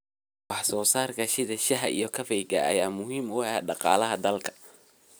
Wax soo saarka sida shaaha iyo kafeega ayaa muhiim u ah dhaqaalaha dalka.